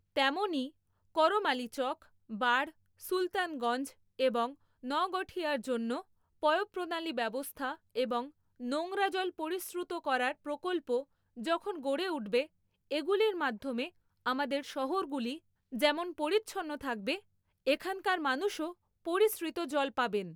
তেমনই, করমালিচক, বাড়, সুলতানগঞ্জ এবং নোগঠিয়ার জন্য পয়ঃপ্রণালী ব্যবস্থা এবং নোংরা জল পরিশ্রুত করার প্রকল্প যখন গড়ে উঠবে, এগুলির মাধ্যমে আমাদের শহরগুলি যেমন পরিচ্ছন্ন থাকবে, এখানকার মানুষও পরিশ্রিত জল পাবেন।